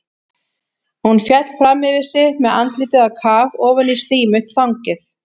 Hún féll fram yfir sig með andlitið á kaf ofan í slímugt þangið.